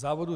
Závodů